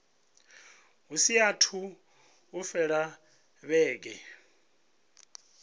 hu saathu u fhela vhege